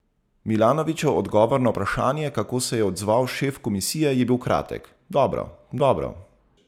Milanovićev odgovor na vprašanje, kako se je odzval šef komisije, je bil kratek: "Dobro, dobro.